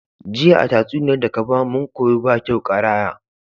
Jiya a tatsuniyar daka bamu mun koyi bakyau ƙaraya